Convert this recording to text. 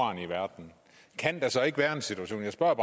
uran i verden kan der så ikke være en situation jeg spørger